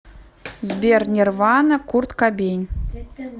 сбер нерванна курт кабейн